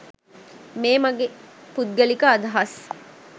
මේ මගේ පුද්ගලික අදහස්..